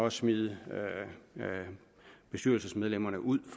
at smide bestyrelsesmedlemmer ud